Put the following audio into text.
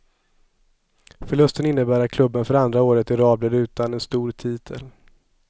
Förlusten innebar att klubben för andra året i rad blir utan en stor titel.